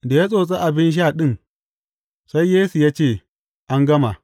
Da ya tsotsi abin sha ɗin, sai Yesu ya ce, An gama.